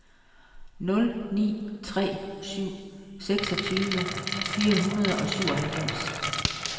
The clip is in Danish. nul ni tre syv seksogtyve fire hundrede og syvoghalvfems